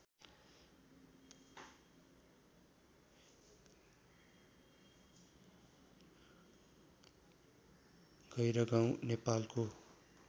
गैह्रागाउँ नेपालको